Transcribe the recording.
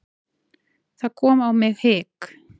Það kom á mig hik.